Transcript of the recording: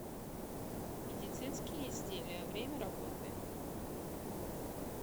медицинские изделия время работы